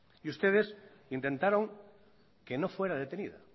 y ustedes intentaron que no fuera detenida